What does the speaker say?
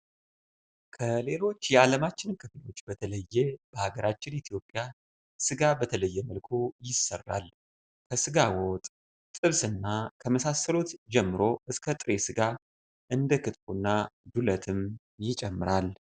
ከሌሎች የአለማችን ክፍሎች በተለየ በሃገራችን ኢትዮጵያ ስጋ በተለያየ መልኩ ይሰራል። ከስጋ ወጥ፣ ጥብስ እና ከመሳሰሉት ጀምሮ እስከ ጥሬ ስጋ እንደ ክትፎ እና ዱለትንም ይጨምራል።